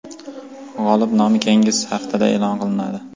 G‘olib nomi keyingi haftada e’lon qilinadi.